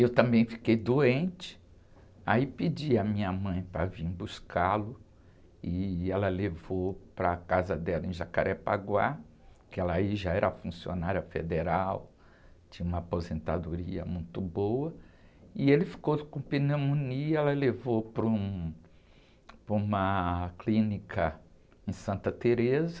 Eu também fiquei doente, aí pedi a minha mãe para vir buscá-lo, e ela levou para a casa dela em Jacarepaguá, que ela aí já era funcionária federal, tinha uma aposentadoria muito boa, e ele ficou com pneumonia, ela levou para um, para uma clínica em Santa Tereza,